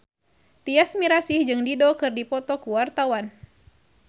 Tyas Mirasih jeung Dido keur dipoto ku wartawan